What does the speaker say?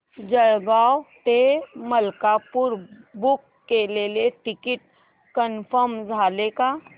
जळगाव ते मलकापुर बुक केलेलं ticket confirm झालं का